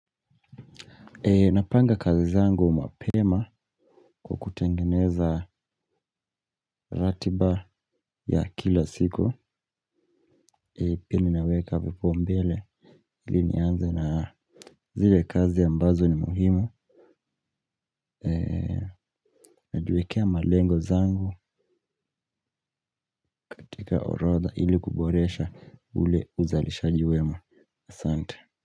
Napanga kazi zangu mapema kwa kutengeneza ratiba ya kila siku. Pia mimi naweka vipaumbele. Ili nianze na zile kazi ambazo ni muhimu. Najiwekea malengo zangu katika orodha ili kuboresha ule uzalishaji wema. Asante.